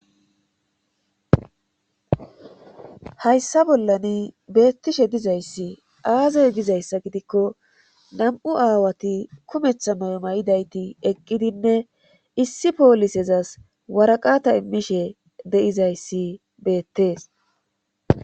hayssa bollani beettishe dizayssi aaze gizayssa gidikko nam7u aawati kumeththa mayo mayidayti eqqidinne issi poolisezas waraqata immishe deizayssi beettees